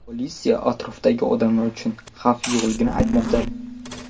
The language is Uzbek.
Politsiya atrofdagi odamlar uchun xavf yo‘qligini aytmoqda.